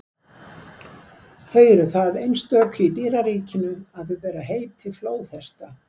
Þau eru það einstök í dýraríkinu að þau bera heiti flóðhesta.